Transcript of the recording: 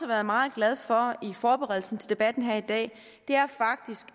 været meget glad for i forberedelsen til debatten her i dag er faktisk